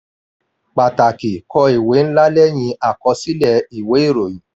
pàtàkì: kọ ìwé ńlá lẹ́yìn àkọsílẹ̀ ìwé ìròyìn.